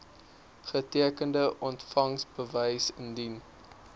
getekende ontvangsbewys indien